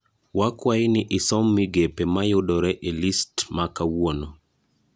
Wakwayi ni isom migepe ma yudore e list ma kawuono